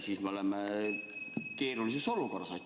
Siis me oleme keerulises olukorras.